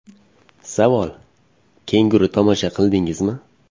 Savol: Kenguru tomosha qildingizmi?